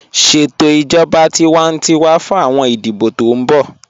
Ṣẹtò ijọba tìwántíwà fún awọn ìdíbọ̀ tó n bọ̀